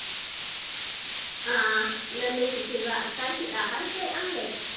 Ah! Lallai ki ce za a sha kiɗa har sai an gaji.